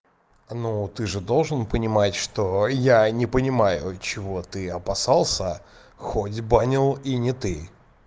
но ты же должен понимать что я не понимаю чего ты опасался хоть банил и не ты